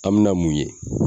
An mina mun ye